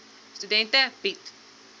studente bied